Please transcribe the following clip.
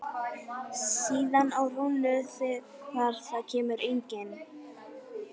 Síðan á Rúnu þegar það kemur engin.